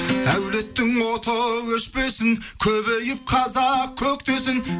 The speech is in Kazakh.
әулеттің оты өшпесін көбейіп қазақ көктесін